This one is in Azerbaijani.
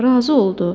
Razı oldu.